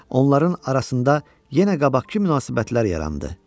Onların arasında yenə qabaqkı münasibətlər yarandı.